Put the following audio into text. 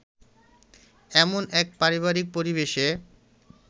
এমন এক পারিবারিক পরিবেশে